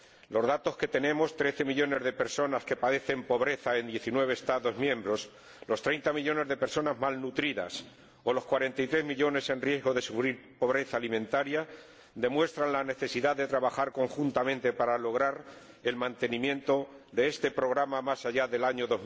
Los datos que tenemos —trece millones de personas que padecen pobreza en diecinueve Estados miembros, treinta millones de personas mal nutridas o cuarenta y tres millones en riesgo de sufrir pobreza alimentaria— demuestran la necesidad de trabajar conjuntamente para lograr el mantenimiento de este programa más allá del año